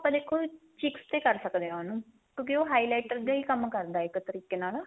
ਆਪਾਂ ਦੇਖੋ cheeks ਤੇ ਕਰ ਸਕਦੇ ਆ ਉਹਨੂੰ ਕਿਉਕਿ ਉਹ highlighter ਦਾ ਈ ਕੰਮ ਕਰਦਾ ਇੱਕ ਤਰੀਕੇ ਨਾਲ